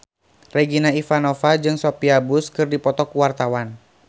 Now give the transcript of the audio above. Regina Ivanova jeung Sophia Bush keur dipoto ku wartawan